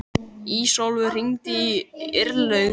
Ísólfur, hringdu í Irlaug.